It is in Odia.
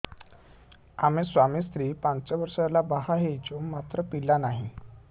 ଆମେ ସ୍ୱାମୀ ସ୍ତ୍ରୀ ପାଞ୍ଚ ବର୍ଷ ହେଲା ବାହା ହେଇଛୁ ମାତ୍ର ପିଲା ନାହିଁ